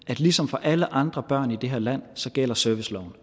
at ligesom for alle andre børn i det her land gælder serviceloven